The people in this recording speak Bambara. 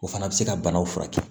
O fana bɛ se ka banaw furakɛ